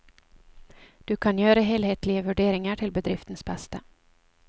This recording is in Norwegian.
Du kan gjøre helhetlige vurderinger til bedriftens beste.